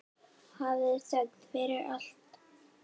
Hafðu þökk fyrir allt.